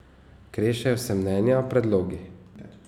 Krešejo se mnenja, predlogi.